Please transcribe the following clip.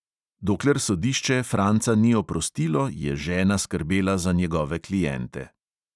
Dokler sodišče franca ni oprostilo, je žena skrbela za njegove kliente.